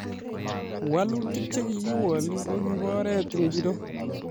Walutik chekikiwol kokibo oret ingoro.